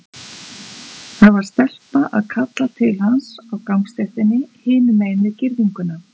Það var stelpa að kalla til hans á gangstéttinni hinum megin við girðinguna.